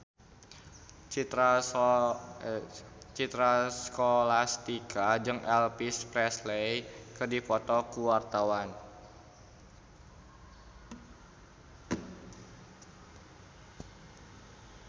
Citra Scholastika jeung Elvis Presley keur dipoto ku wartawan